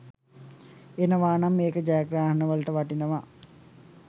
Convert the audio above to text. එනවා නම් ඒක ජයග්‍රහණවලට වටිනවා.